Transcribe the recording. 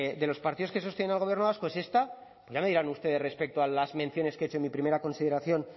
de los partidos que sostienen al gobierno vasco es esta pues ya me dirán ustedes respecto a las menciones que he hecho en mi primera consideración